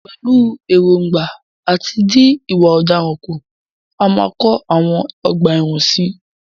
Pẹ̀lú ẹ̀ròǹgbà àti dín ìwà ọ̀daràn kù, a máa kọ àwọn ọgbà ẹ̀wọ̀n sí i.